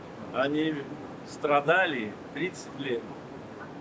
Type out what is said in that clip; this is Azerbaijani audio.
Onlar 30 il əziyyət çəkiblər.